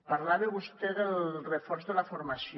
parlava vostè del reforç de la formació